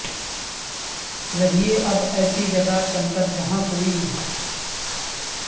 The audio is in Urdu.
رہئے اب ایسی جگہ چل کر جہاں کوئی نہ ہو